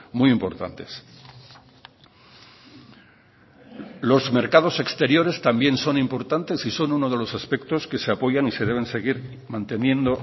muy importantes los mercados exteriores también son importantes y son uno de los aspectos que se apoyan y se deben seguir manteniendo